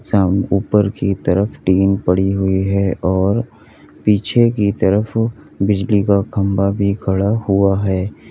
शाम ऊपर तरफ की तरफ टीन पड़ी हुई है और पीछे की तरफ बिजली का खंभा भी खड़ा हुआ है।